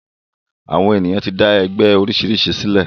Àwọn èyàn ti dá oríṣiríṣi ẹgbẹ sílẹ̀.